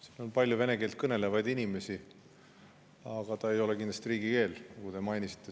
Siin on palju vene keelt kõnelevaid inimesi, aga see ei ole kindlasti riigikeel, nagu te mainisite.